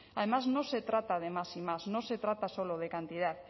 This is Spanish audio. además no se trata de más y más no se trata solo de cantidad